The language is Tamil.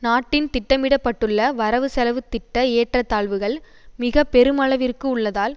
நாட்டின் திட்டமிட பட்டுள்ள வரவு செலவு திட்ட ஏற்றத்தாழ்வுகள் மிக பெருமளவிற்கு உள்ளதால்